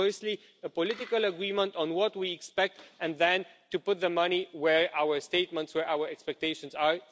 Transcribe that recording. Firstly, a political agreement on what we expect and then to put the money where our statements and our expectations are.